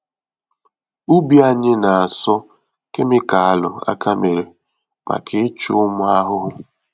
Ubi anyị na-asọ kemịkalụ-aka-mere maka ịchụ ụmụ ahụhụ.